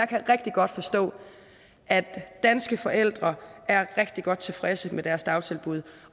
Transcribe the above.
kan rigtig godt forstå at danske forældre er rigtig godt tilfredse med deres dagtilbud